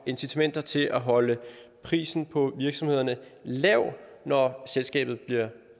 incitamenter til at holde prisen på virksomhederne lav når selskabet bliver